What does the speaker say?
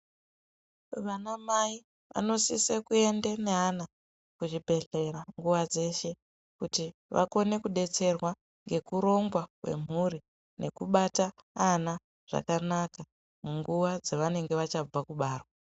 Vana mai vanosise kuenda nevana kuzvibhehlera nguwa dzeshe kuti vakone kudetserwa ngekurongwa kwemhuri nekubate ana zvakanaka munguwa dzavanenge vachabva kubarwa.